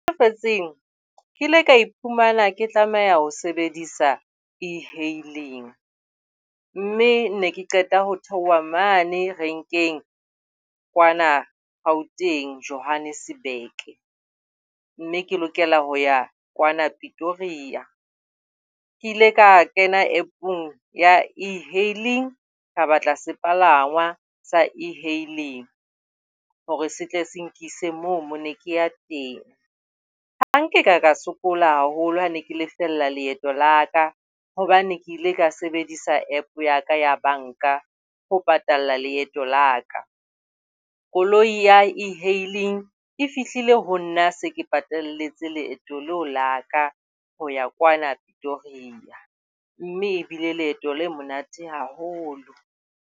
Lefatsheng ke ile ka iphumana ke tlameha ho sebedisa e-hailing, mme ne ke qeta ho theoha mane renkeng kwana Gauteng, Johannesburg. Mme ke lokela ho ya kwana Pretoria. Ke ile ka kena App-ong ya E-hailing. Ka batla sepalangwa se e-hailing hore se tle se nkisa moo ne ke ya teng. Ha nka ba ka sokola haholo ha ne ke lefella leeto la ka, hobane ke ile ka sebedisa App ya ka ya banka ho patala leeto la ka. Koloi ya E-hailing e fihlile ho nna se ke patalletse leeto leo la ka ho ya kwana Pretoria, mme ebile leeto le monate haholo.